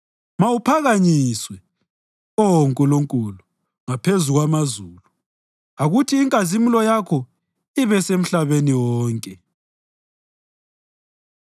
Mawuphakanyiswe, Oh Nkulunkulu, ngaphezulu kwamazulu; akuthi inkazimulo yakho ibesemhlabeni wonke.